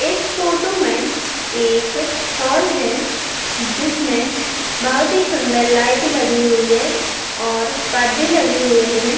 इस फोटो में एक हॉल है। जिसमें बहोत ही सुन्दर लाइट लगी हुई है और परदे लगे हुए हैं।